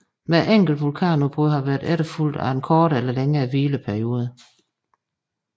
Hvert enkelt vulkanudbrud har været efterfulgt af en kortere eller længere hvileperiode